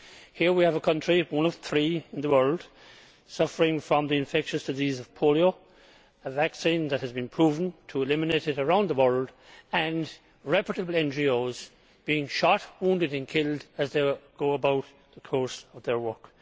Here we have a country one of three in the world suffering from the infectious disease of polio, a vaccine that has been proven to eliminate it around the world and workers for reputable NGOs being shot, wounded and killed as they go about the course of their work.